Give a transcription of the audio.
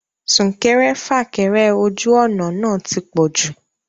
Súnkẹrẹ fàkẹrẹ ojú ọ̀nà náà ti pọ̀jù